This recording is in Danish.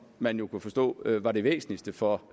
man jo kunne forstå var det væsentligste for